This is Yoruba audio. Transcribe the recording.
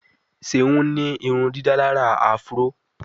Seun ní irundidalara afro.